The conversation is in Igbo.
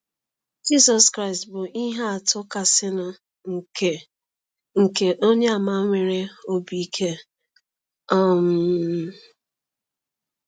Jisọ krịstị bụ ihe atụ kasịnụ nke nke onye àmà nwere obi ike um